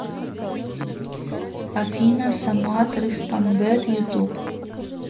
афина самат рыспанбет ютуб